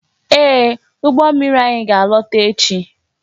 Ee, ụgbọ mmiri anyị ga-alọta echi